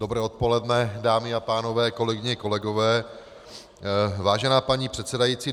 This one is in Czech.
Dobré odpoledne, dámy a pánové, kolegyně, kolegové, vážená paní předsedající.